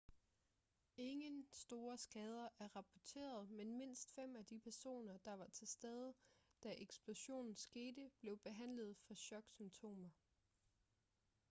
ingen store skader er rapporteret men mindst fem af de personer der var til stede da eksplosionen skete blev behandlet for choksymptomer